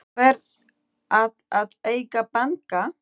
Hver á að eiga banka?